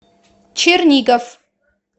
чернигов